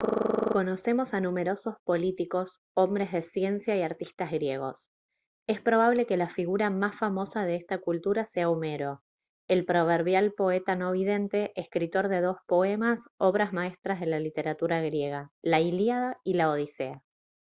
conocemos a numerosos políticos hombres de ciencia y artistas griegos es probable que la figura más famosa de esta cultura sea homero el proverbial poeta no vidente escritor de dos poemas obras maestras de la literatura griega la ilíada y la odisea